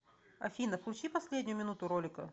афина включи последнюю минуту ролика